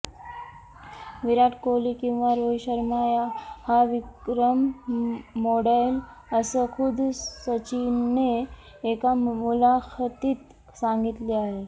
विराट कोहली किंवा रोहित शर्मा हा विक्रम मोडेल असं खुद्द सचिनने एका मुलाखतीत सांगितले आहे